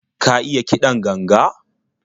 Ka iya kiɗan ganga?